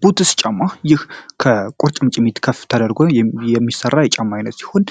ቡትስ ጫማ ይህ ከቁርጭምጭሚት ከፍ ተደርገ የሚሠራ የጫማ ዓይነት ሲሆን